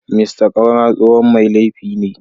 Mr Kaura tsohon mai laifi ne.